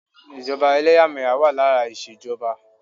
Ìjọba ẹlẹ́yàmẹ̀yà wà lára ìṣèjọba.